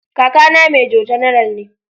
Kakana Major General ne.